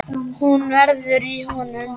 Hún veður í honum.